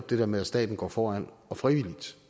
det der med at staten går foran frivilligt